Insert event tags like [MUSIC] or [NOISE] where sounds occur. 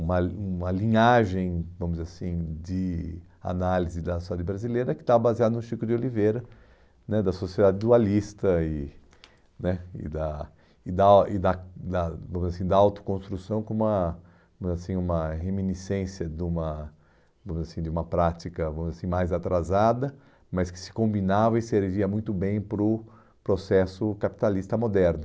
uma uma linhagem, vamos dizer assim, de análise da sociedade brasileira que estava baseada no Chico de Oliveira né, da sociedade dualista e né e da e da e da da, vamos dizer assim, da autoconstrução como uma , vamos dizer assim, uma reminiscência de uma, vamos dizer assim, de uma prática [UNINTELLIGIBLE] mais atrasada, mas que se combinava e servia muito bem para o processo capitalista moderno.